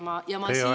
Teie aeg!